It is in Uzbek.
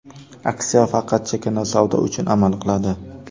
Aksiya faqat chakana savdo uchun amal qiladi.